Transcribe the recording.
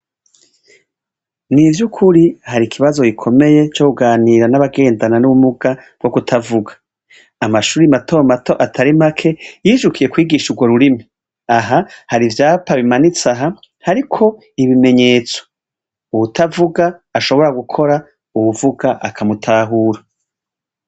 Ni ivy'ukuri hari ikibazo gikomeye co kuganira n'abagendana n'ubumuga bwo kutavuga. Amashuri mato mato atari make yijukiye kwigisha urwo rurimi. Aha hari ivyapa bimanitse aha, hariko ibimenyetso. Uwutavuga ashobora gukora uwuvuga akamutahura.